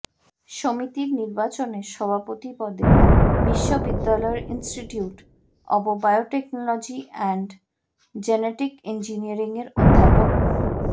সমিতির নির্বাচনে সভাপতি পদে বিশ্ববিদ্যালয়ের institute of biotechnology and genetic ইঞ্জিনিয়ারিংয়ের অধ্যাপক মো